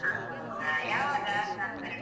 ಹೌದಾ ಯಾವಾಗ ನಾಮಕರಣ?